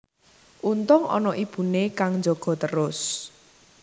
Untung ana ibune kang njaga trus